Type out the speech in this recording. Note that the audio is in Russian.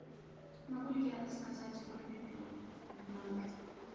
могу ли я заказать барбекю в номер